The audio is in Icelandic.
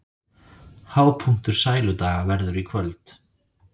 Hápunktur Sæludaga verður í kvöld